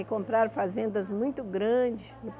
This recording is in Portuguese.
E comprar fazendas muito grandes.